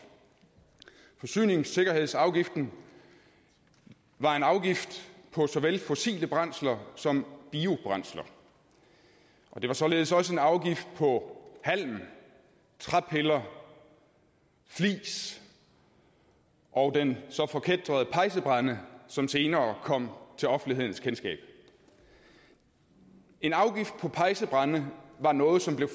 forsyningssikkerhedsafgiften var en afgift på såvel fossile brændsler som biobrændsler og det var således også en afgift på halm træpiller flis og den så forkætrede pejsebrænde som senere kom til offentlighedens kendskab en afgift på pejsebrænde var noget som blev